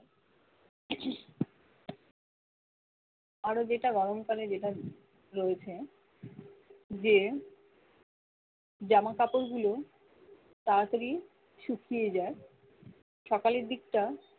আরো যেটা গরমকালে যেটা রয়েছে যে জামাকাপড় গুলো তাড়াতাড়ি শুকিয়ে যায় সকালের দিকটা